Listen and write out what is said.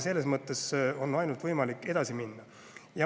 Selles mõttes on võimalik ainult edasi minna.